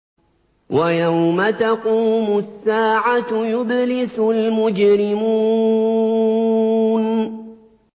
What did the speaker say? وَيَوْمَ تَقُومُ السَّاعَةُ يُبْلِسُ الْمُجْرِمُونَ